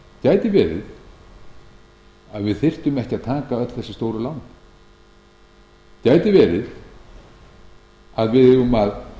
gæti verið að við þyrftum ekki að taka öll þessi stóru lán gæti verið að við eigum að